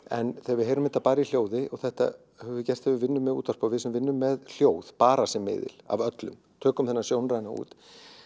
en þegar við heyrum þetta bara í hljóði og þetta höfum við gert þegar við vinnum með útvarpi og við sem vinnum með hljóð bara sem miðil af öllum tökum þennan sjónræna út